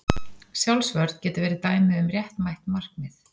Sjálfsvörn getur verið dæmi um réttmætt markmið.